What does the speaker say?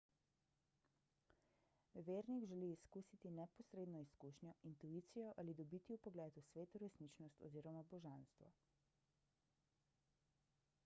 vernik želi izkusiti neposredno izkušnjo intuicijo ali dobiti vpogled v sveto resničnost oz. božanstvo